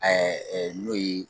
n'o ye